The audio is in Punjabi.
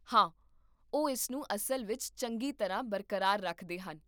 ਹਾਂ, ਉਹ ਇਸਨੂੰ ਅਸਲ ਵਿੱਚ ਚੰਗੀ ਤਰ੍ਹਾਂ ਬਰਕਰਾਰ ਰੱਖਦੇ ਹਨ